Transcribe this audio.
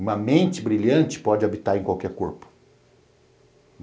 Uma mente brilhante pode habitar em qualquer corpo.